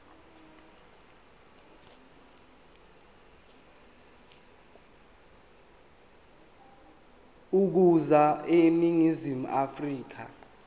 ukuza eningizimu afrika